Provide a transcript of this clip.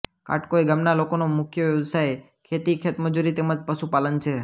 કાટકોઇ ગામના લોકોનો મુખ્ય વ્યવસાય ખેતી ખેતમજૂરી તેમ જ પશુપાલન છે